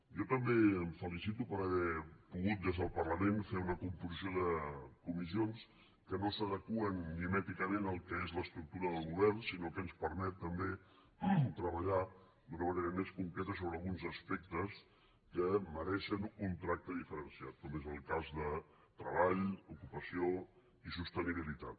jo també em felicito per haver pogut des del parlament fer una composició de comissions que no s’adeqüen mimèticament al que és l’estructura del govern sinó que ens permet també treballar d’una manera més concreta sobre alguns aspectes que mereixen un tracte diferenciat com és el cas de treball ocupació i sostenibilitat